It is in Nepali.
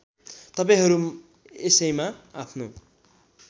तपाईँहरू यसैमा आफ्नो